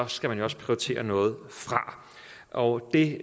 skal man også prioritere noget fra og det